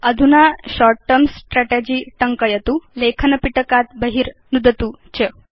अधुना short term strategy टङ्कयतु लेखन पिटकात् बहिर् नुदतु च